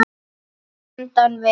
Handan við